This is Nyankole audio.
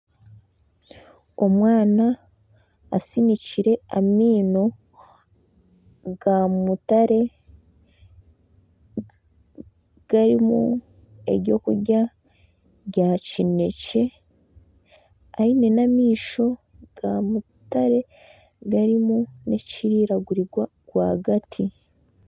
Omwana asinikire amaino ga mutare harimu ebyokurya ga kinekye aine n'amaisho ga mutare harimu nekiriragurirwa r'wagati